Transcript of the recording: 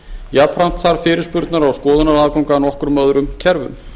jafnframt þarf fyrirspurnar og skoðunaraðgang að nokkrum öðrum kerfum